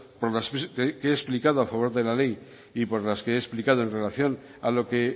por las que explicado a favor de la ley y por las que he explicado en relación a lo que